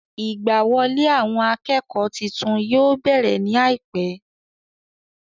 Ìgbà wọlé àwọn akẹ́kọ̀ọ́ titun yóò bẹ̀rẹ̀ ní àìpẹ́